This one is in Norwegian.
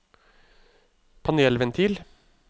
panelventil